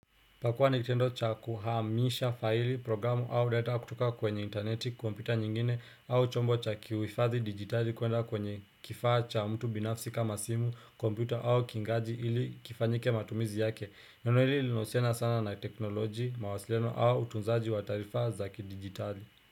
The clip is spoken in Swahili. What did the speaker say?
Pakuwa ni kitendo cha kuhamisha faili programu au data kutoka kwenye intaneti, kompyuta nyingine au chombo cha kuhifadhi dijitali kwenda kwenye kifaa cha mtu binafsi kama simu, kompyuta au kingaji ili kifanyike matumizi yake. Neno hili linahusiana sana na teknolojia, mawasiliano au utunzaji wa taarifa za kidijitali.